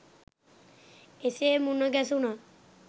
එසේ මුණගැසුණත්